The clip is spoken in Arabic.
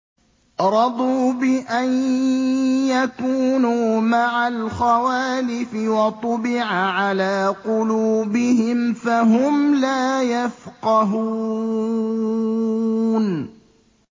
رَضُوا بِأَن يَكُونُوا مَعَ الْخَوَالِفِ وَطُبِعَ عَلَىٰ قُلُوبِهِمْ فَهُمْ لَا يَفْقَهُونَ